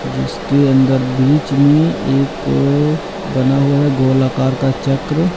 जिसके अंदर बीच में एक बना हुआ है गोलाकार का चक्र--